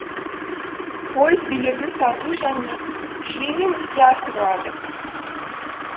пойыз билетін сату және жүйемен іске асырылады